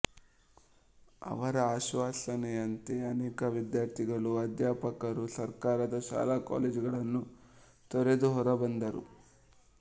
ಅವರ ಆಶ್ವಾಸನೆಯಂತೆ ಅನೇಕ ವಿದ್ಯಾರ್ಥಿಗಳು ಅಧ್ಯಾಪಕರೂ ಸರ್ಕಾರದ ಶಾಲಾಕಾಲೇಜುಗಳನ್ನು ತೊರೆದು ಹೊರಬಂದರು